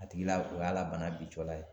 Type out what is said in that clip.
A tigi la o y'a la bana bi cɔla ye.